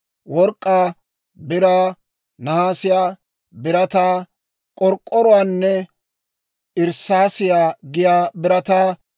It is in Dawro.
Work'k'aa, biraa, nahaasiyaa, birataa, k'ork'k'oruwaanne irssaasiyaa giyaa birataa